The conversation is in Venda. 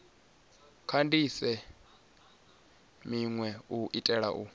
kandise minwe u itela u